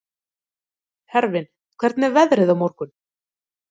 Hervin, hvernig er veðrið á morgun?